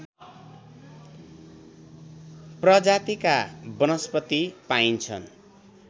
प्रजातिका वनस्पति पाइन्छन्